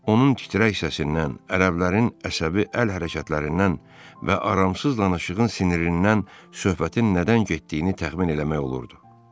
Onun titrək səsindən, ərəblərin əsəbi əl hərəkətlərindən və aramsız danışığın sinirindən söhbətin nədən getdiyini təxmin eləmək olurdu.